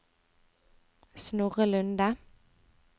Snorre Lunde